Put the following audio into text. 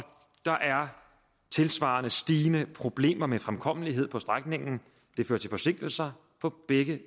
der er tilsvarende stigende problemer med fremkommelighed på strækningen det fører til forsinkelser på begge